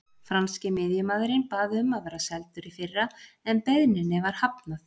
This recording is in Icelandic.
Franski miðjumaðurinn bað um að vera seldur í fyrra en beiðninni var hafnað.